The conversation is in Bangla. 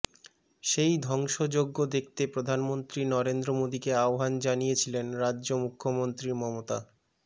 সেই ধ্বংসযজ্ঞ দেখতে প্রধানমন্ত্রী নরেন্দ্র মোদীকে আহ্বান জানিয়েছিলেন রাজ্য মুখ্যমন্ত্রী মমতা